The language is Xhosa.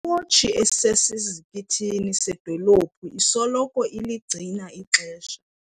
Iwotshi esesizikithini sedolophu isoloko iligcina ixesha.